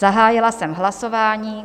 Zahájila jsem hlasování.